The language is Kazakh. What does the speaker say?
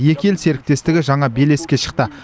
екі ел серіктестігі жаңа белеске шықты